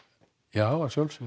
já að sjálfsögðu